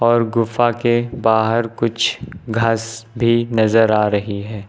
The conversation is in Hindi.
और गुफा के बाहर कुछ घास भी नजर आ रही है।